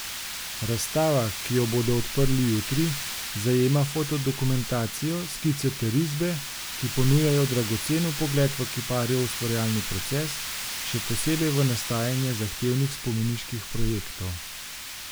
Razstava, ki jo bodo odprli jutri, zajema fotodokumentacijo, skice ter risbe, ki ponujajo dragocen vpogled v kiparjev ustvarjalni proces, še posebej v nastajanje zahtevnih spomeniških projektov.